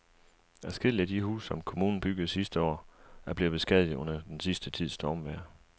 Adskillige af de huse, som kommunen byggede sidste år, er blevet beskadiget under den sidste tids stormvejr.